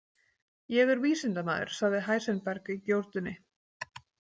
Ég er vísindamaður, sagði Heisenberg í gjótunni.